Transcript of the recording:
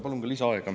Palun ka lisaaega.